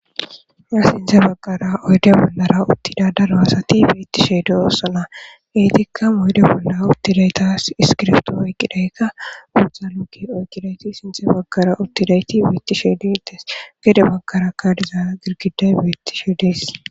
Ya sinthe baggara oydea bollara uttida daro asati beittishe doossana geetikka moyde bolla uttidaytaas iskirfto oyqqidaykka uuthanukke oyqqidayti sinthe baggara uttidayti biitti sheedides gede baggara kadiza girgiday beittishe dees